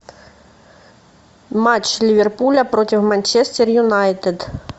матч ливерпуля против манчестер юнайтед